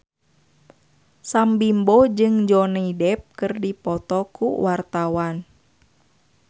Sam Bimbo jeung Johnny Depp keur dipoto ku wartawan